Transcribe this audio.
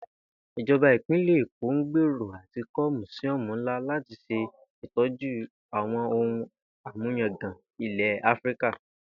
Ìjo̩ba Ìpínlè̩ Èkó ń gbèrò à ti kó̩ mùsíó̩mù ńlá láti s̩e ìtó̩jú àwo̩n ohun àmúyangàn ilè̩ Áfíríkà